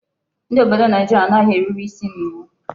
Ndi obodo Naijiria anaghi erube isi nye iwu